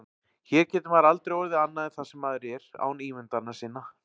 Hér getur maður aldrei orðið annað en það sem maður er án ímyndana sinna.